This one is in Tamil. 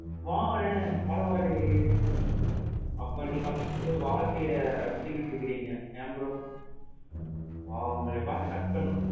பாருங்களேன் பரவா இல்லையே, அப்ப நீங்க வந்து வாழ்க்கைய ரசிச்சிட்டு இருக்கிறீங்க என் bro? wow! உங்கள பாத்து கத்துக்கிறணும்.